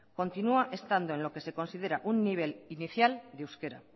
continúa estando en lo que se considera un nivel inicial de euskera